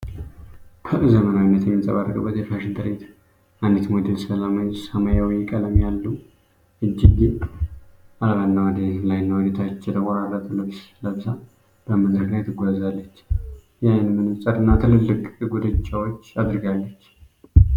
ፐ ዘመናዊነት የሚንጸባረቅበት የፋሽን ትርዒት። አንዲት ሞዴል ሰማያዊ ቀለም ያለው፣ እጅጌ አልባና ወደ ላይና ወደ ታች የተቆረጠ ልብስ ለብሳ በመድረክ ላይ ትጓዛለች። የዓይን መነፅርና ትልልቅ ጉትቻዎች አድርጋለች።